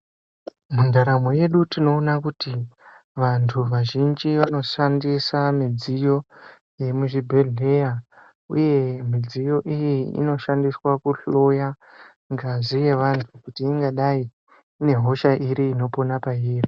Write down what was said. Ndaramo yedu tinoona kuti vantu vazhinji vanoshandisa midziyo muzvibhedhleya uye mudziyo iyi inoshandiswa kuhloya ngazi yevantu kuti ingadai inehosha iri inoshanda peiri.